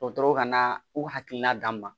Dɔgɔtɔrɔw ka na u hakilina d'an ma